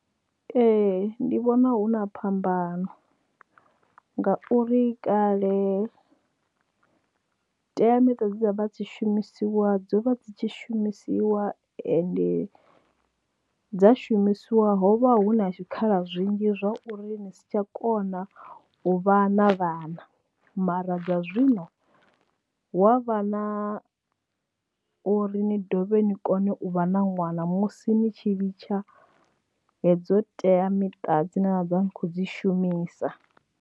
Ee ndi vhona hu na phambano ngauri kale teamiṱa dza vha dzi shumisiwa dzo vha dzi tshi shumisiwa ende dza shumisiwa ho vha hu na tshikhala zwinzhi zwa uri ni si tsha kona u vha na vhana mara dza zwino, wa vha na uri ni dovha ni kone u vha na ṅwana musi ni tshi litsha hedzo teamiṱa dzine na ḓo vha ndi khou dzi shumisa.